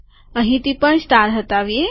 અહીંથી પણ સ્ટાર હટાવીએ